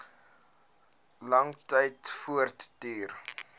lang tyd voortduur